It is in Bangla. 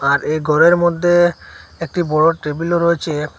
আর এ ঘরের মধ্যে একটি বড় টেবিলও রয়েছে।